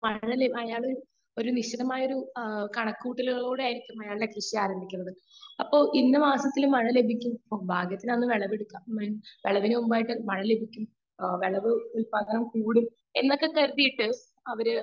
Speaker 2 അയാള് ഒരു നിശിതമായ ഒരു കണക്കു കൂട്ടലുകളിലൂടെ ആയിരിക്കും അയാളുടെ കൃഷി ആരംഭിക്കുന്നത് അപ്പൊ ഇന്ന മാസത്തിൽ ലഭിക്കും ഭാഗ്യത്തിന് അന്ന് വിളവെടുക്കാം മുൻപായിട്ടു മഴ ലഭിക്കും . വിളവ് ഉത്പാദനം കൂടും എന്നൊക്കെ കരുതിയിട്ടാണ്